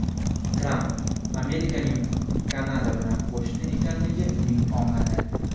Tramp: Amerikaning Kanada bilan qo‘shni ekanligi uning omadi.